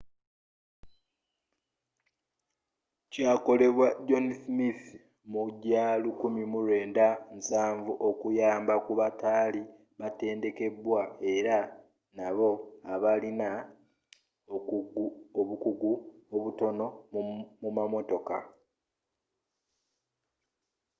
kyakolebwa john smith mu gyo 1970 okuyamba ku batali batendeke era nabo abalina obukugu obutono mu mamotoka